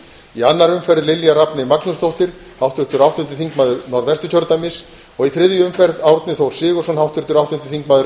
í annarri umferð lilja rafney magnúsdóttur háttvirtur áttundi þingmaður norðvesturkjördæmis og í þriðju umferð árni þór sigurðsson háttvirtur áttundi þingmaður